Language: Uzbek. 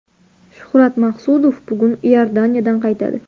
Shuhrat Maqsudov bugun Iordaniyadan qaytadi.